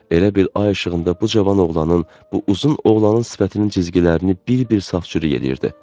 Elə bil ay işığında bu cavan oğlanın, bu uzun oğlanın sifətinin cizgilərini bir-bir safçürük eləyirdi.